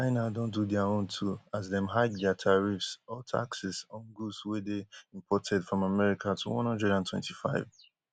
china don do dia own too as dem hike dia tariffs or taxes on goods wey dey imported from america to one hundred and twenty-five